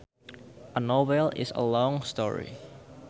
A novel is a long story